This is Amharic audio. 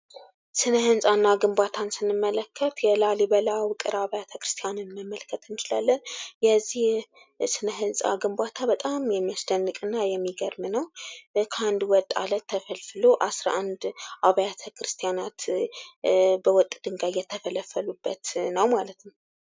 ሥነ ሕንፃ እና ግንባታን ስንመለከት የላሊበላ ውቅር አብያተ ክርስቲያናንን መመልከት እንችላለን። የዚህ ሥነ ሕንፃ ግንባታ በጣም የሚያስደንቅና የሚገርም ነው። ከ አንድ ወጥ አለት ተፈልፍሎ 11 አብያተ ክርስቲያናት በወጥ ድንዳይ የተፈለፈሉበት ነው ማለት ነው።